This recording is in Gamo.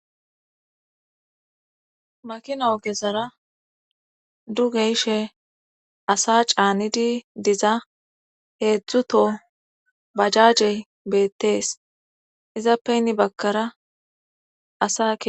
Makina ogesara duge ishe asa caanidi diza heedzdzuto bajajey beettees izappe nni bakara asae